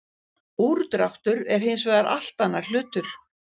Úrdráttur er hins vegar allt annar hlutur.